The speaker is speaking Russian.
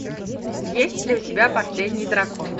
есть ли у тебя последний дракон